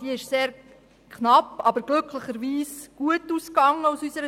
Diese ist zwar sehr knapp, aber aus unserer Sicht glücklicherweise gut ausgegangen.